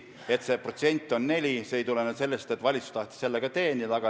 Et see protsent on 4, ei tulenenud sellest, nagu valitsus oleks tahtnud sellega teenida.